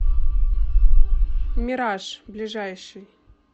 мираж ближайший